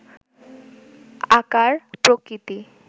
আকার, প্রকৃতি